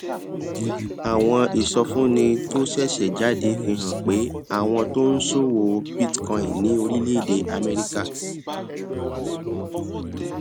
àwọn ìsọfúnni tó ṣẹṣẹ jáde fi hàn pé àwọn tó ń ṣòwò bitcoin ní orílèèdè améríkà